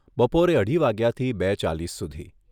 બપોરે અઢી વાગ્યાથી બે ચાલીસ સુધી